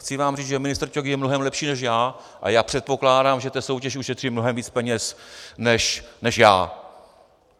Chci vám říct, že ministr Ťok je mnohem lepší než já a já předpokládám, že ta soutěž ušetří mnohem víc peněz než já."